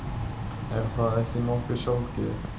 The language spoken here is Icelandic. Er það ekki nokkuð sjálfgefið?